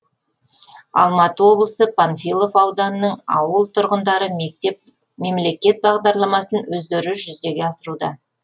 алматы облысы панфилов ауданының ауыл тұрғындары мемлекет бағдарламасын өздері жүзеге асыруда